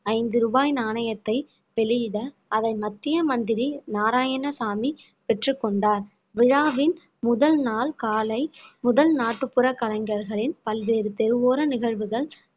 ஐந்து ரூபாய் நாணயத்தை வெளியிட அதை மத்திய மந்திரி நாராயணசாமி பெற்றுக்கொண்டார் விழாவின் முதல் நாள் காலை முதல் நாட்டுப்புற கலைஞர்களின் பல்வேறு தெருவோர நிகழ்வுகள்